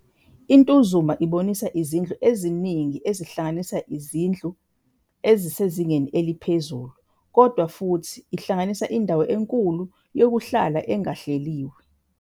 I-Ntuzuma ibonisa izindlu eziningi ezihlanganisa ezinye izindlu ezisezingeni eliphezulu kodwa futhi ihlanganisa indawo enkulu yokuhlala engahleliwe.